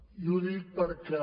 i ho dic perquè